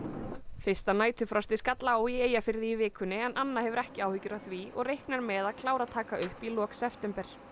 fyrsta næturfrostið skall á í Eyjafirði í vikunni en Anna hefur ekki áhyggjur af því og reiknar með að klára að taka upp í lok september